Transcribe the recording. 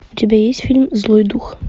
у тебя есть фильм злой дух